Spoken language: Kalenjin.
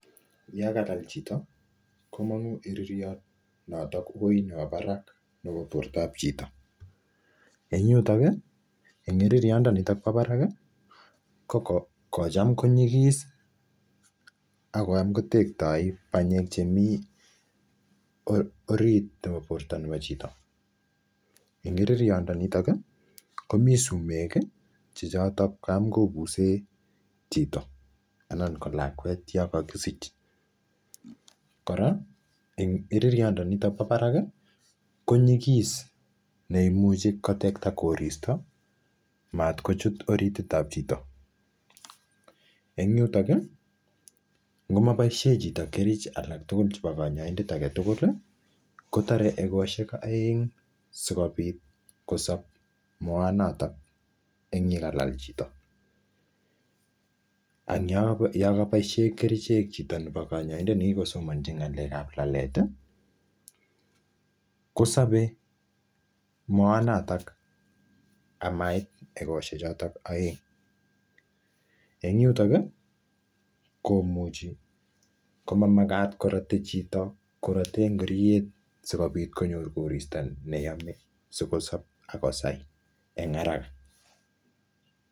Yon kalal chito komongu iririot noton woi nebo barak nebo bortab chito, en yutok kii en iririot nitok bo barak kii ko kochem konyigis akiam kotekto panyek chemii orit nebo borto neo chito. En iririomdenitin komii sumek kii chechoton tamkobusen chito anan ko lakwet non kokisech, Koraa en iririot ndoniton bo barak koyikis neimuchi kotekte koristo mat kochut orititab chito. En yutok kii ngo moboishen chito kerich alak tukul chebo konyoindet agetukul kotoret egoshelk oeng sikopit kosob moanoton an yakalal chito . Ana yon koboishen kerichek chito nebo konyoiset nekikosomonchi ngalekab lalet tii kosobet moanotok amait egoshelk choton oeng, en yutok kii komuchi komamakat korote chito koroten ingoriet sikopit konyor koristo neyome sikosib akosai en haraka.